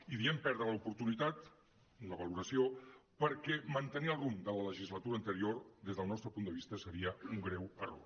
i diem perdre l’oportunitat una valoració perquè mantenir el rumb de la legislatura anterior des del nostre punt de vista seria un greu error